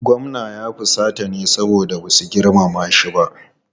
Gwamnan ya fusata ne saboda ba su girmama shi ba.